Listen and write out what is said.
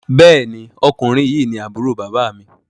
Béèni Ọkùnrin yi ní Àbúrò bàbá mi.